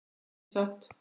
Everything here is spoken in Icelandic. Ég er mjög sátt.